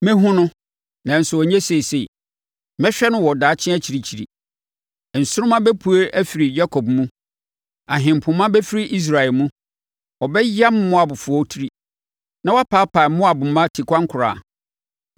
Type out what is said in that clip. “Mɛhunu no, nanso ɛnyɛ seesei; mehwɛ no wɔ daakye akyirikyiri. Nsoromma bɛpue afiri Yakob mu! Ahempoma bɛfiri Israel mu. Ɔbɛyam Moabfoɔ tiri, na wapaapae Moab mma tikwankora.